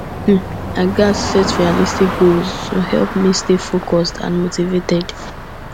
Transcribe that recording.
um i i gats set realistic goals to help me stay focused and motivated